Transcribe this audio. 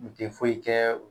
Nin te foyi kɛ